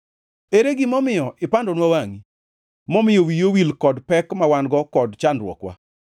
Ere gima omiyo ipandonwa wangʼi momiyo wiyi owil kod pek ma wan-go kod chandruokwa?